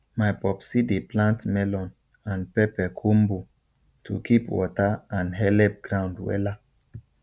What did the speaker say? my popsi dey plant melon and pepper combo to keep water and helep ground wella